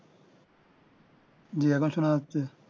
হুম আবার সোনা যাচ্ছে